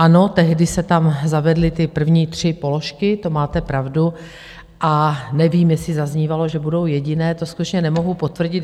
Ano, tehdy se tam zavedly ty první tři položky, to máte pravdu, a nevím, jestli zaznívalo, že budou jediné, to skutečně nemohu potvrdit.